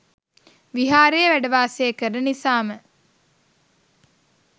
විහාරයේ වැඩ වාසය කරන නිසාම